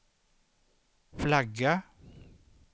flagga